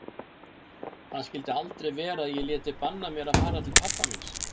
Það skyldi aldrei verða að ég léti banna mér að fara til pabba míns.